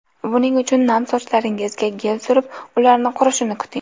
Buning uchun nam sochlaringizga gel surib, ularni qurishini kuting.